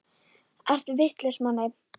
Ertu vitlaus Manni!